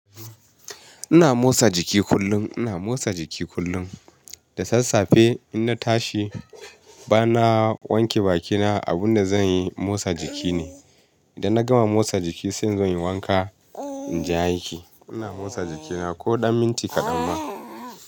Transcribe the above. Ina motsa jiki kullum, ina motsa jiki kullum. Da sassafe in na tashi bana wanke bakina abun da zanyi motsa jiki ne. Idan na gama motsa jiki sai inzo in yi wanka in je aiki. Ina motsa jikina ko ɗan minti kaɗan ma.